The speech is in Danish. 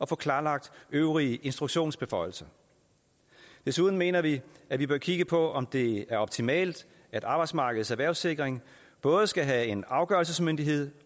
få klarlagt øvrige instruktionsbeføjelser desuden mener vi at vi bør kigge på om det er optimalt at arbejdsmarkedets erhvervssikring både skal have en afgørelsesmyndighed